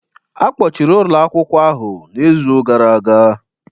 Akpọchiri ụlọ akwụkwọ ahụ n'izu gara aga